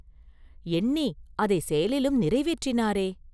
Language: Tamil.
எண்ணி அதைச் செயலிலும் நிறைவேற்றினாரே?